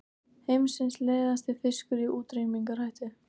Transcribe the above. Heimsins leiðasti fiskur í útrýmingarhættu